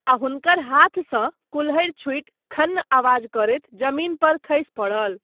आ हुनकर हाथसँ कुल्हड़ि छुटि खन्न आवाज करैत जमीन पर खसि पड़ल।